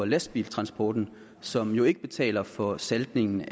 lastbiltransporten som jo ikke betaler for saltningen